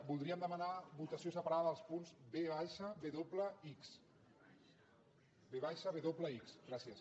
voldríem demanar votació separada dels punts v gràcies